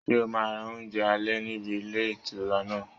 Ṣé o máa ra oúnjẹ alẹ́ níbi ilé ìtura náà?